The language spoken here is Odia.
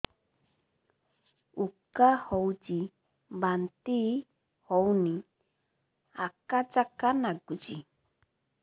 ଉକା ଉଠୁଚି ବାନ୍ତି ହଉନି ଆକାଚାକା ନାଗୁଚି